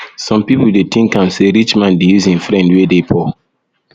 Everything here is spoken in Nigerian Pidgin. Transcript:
some pipo dey tink am sey rich man dey use im friend wey dey poor